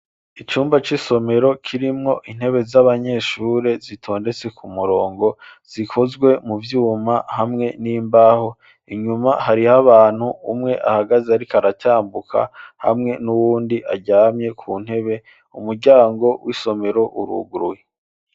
Icumba c'isomero, kirimwo intebe, z'abanyeshure, zitondetse ku murongo, zikozwe mu vyuma, hamwe n'imbaho; inyuma, hariho abantu, umwe ahagaze, ariko aratambuka, hamwe n'uwundi, aryamye ku ntebe; umuryango w'isomero uruguruye.